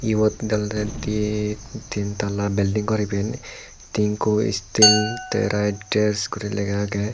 ebot olodey diye tin talla biding gor iben tinko skill right base gori lega agey.